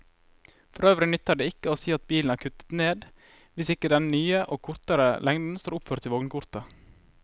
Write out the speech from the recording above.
Forøvrig nytter det ikke å si at bilen er kuttet ned hvis ikke den nye og kortere lengden står oppført i vognkortet.